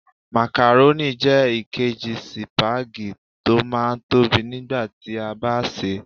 Makarónì jẹ́ èkejì sípágì tó máa ń tóbi nígbà tí a bá sè é.